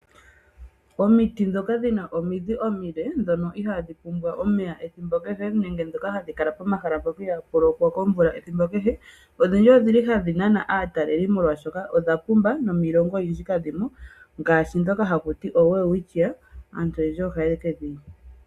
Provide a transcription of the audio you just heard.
Omiti ndhoka dhi na omidhi omile ndhoka ihaadhi pumbwa omeya ethimbo kehe nenge ndhoka hadhi kala mpoka ihaapu lokwa komvula ethimbo kehe odhindji ohadhi nana aatalelipo, oshoka odha pumba nomiilongo oyindji kadhi mo ngaashi ndhoka dhoowelwitchia.